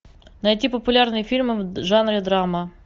найти популярные фильмы в жанре драма